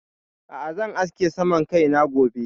A'a zan aske suman kaina gobe.